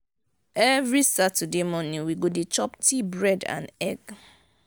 every sunday morning we go dey chop tea bread and egg.